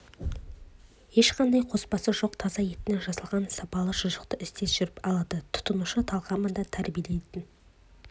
ешқандай қоспасы жоқ таза еттен жасалған сапалы шұжықты іздеп жүріп алады тұтынушы талғамын да тәрбиелейтін